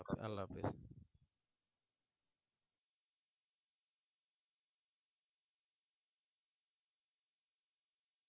আল্লাহ হাফেজ